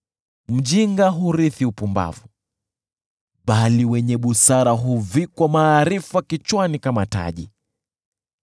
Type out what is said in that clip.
Mjinga hurithi upumbavu, bali wenye busara huvikwa maarifa kichwani kama taji.